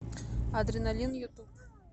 адреналин ютуб